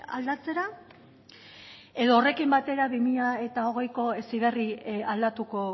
aldatzera edo horrekin batera bi mila hogeiko heziberri aldatuko